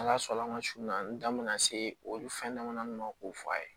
Ala sɔnn'an ma sun na n da bɛna se olu fɛn dama ma k'o fɔ a ye